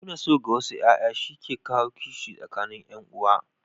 Nuna so ga wasu ƴaƴa shi ke kawo kishi tsakanin ƴan'uwa.